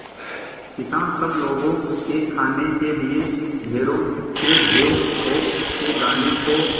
किसान सब लोगों के खाने के लिए ढेरों के ढेर पोंख के दानों को